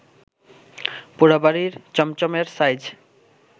পোড়াবাড়ির চমচমএর সাইজ